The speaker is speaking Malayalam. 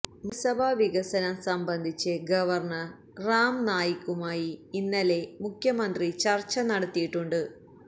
മന്ത്രിസഭാ വികസനം സംബന്ധിച്ച് ഗവര്ണര് റാം നായിക്കുമായി ഇന്നലെ മുഖ്യമന്ത്രി ചര്ച്ച നടത്തിയിട്ടുണ്ട്